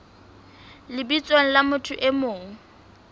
lebitsong la motho e mong